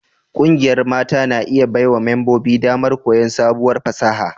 Ƙungiyar mata na iya baiwa membobin damar koyon sabuwar fasaha